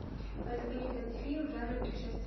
поисковик найди фильм в жанре путешествия